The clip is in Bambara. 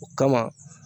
O kama